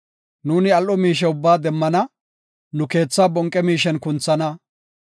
Nuuni al7o miishe ubbaa demmana; nu keethaa bonqe miishen kunthana.